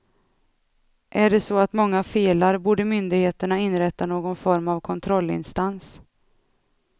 Är det så att många felar borde myndigheterna inrätta någon form av kontrollinstans.